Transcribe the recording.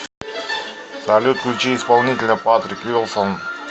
салют включи исполнителя патрик вилсон